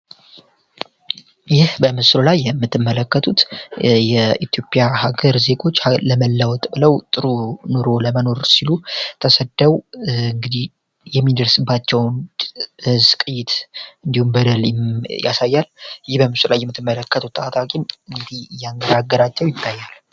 የምትመለከቱት የኢትዮጵያ ሀገር ለመለወጥ ብለው ለመኖር ሲሉ እንግዲ የሚደርስባቸዉን ያሳያል